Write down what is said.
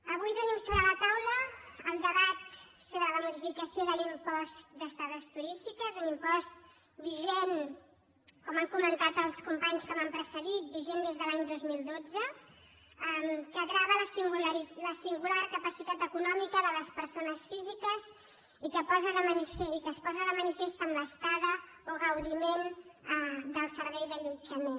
avui tenim sobre la taula el debat sobre la modificació de l’impost d’estades turístiques un impost vigent com han comentat els companys que m’han precedit des de l’any dos mil dotze que grava la singular capacitat econòmica de les persones físiques i que es posa de manifest en l’estada o gaudiment del servei d’allotjament